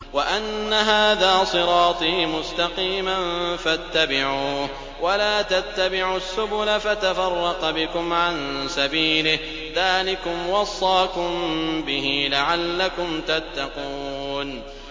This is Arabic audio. وَأَنَّ هَٰذَا صِرَاطِي مُسْتَقِيمًا فَاتَّبِعُوهُ ۖ وَلَا تَتَّبِعُوا السُّبُلَ فَتَفَرَّقَ بِكُمْ عَن سَبِيلِهِ ۚ ذَٰلِكُمْ وَصَّاكُم بِهِ لَعَلَّكُمْ تَتَّقُونَ